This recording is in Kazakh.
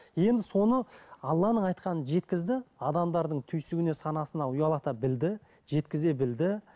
енді соны алланың айтқанын жеткізді адамдардың түйсігіне санасына ұялата білді жеткізе білді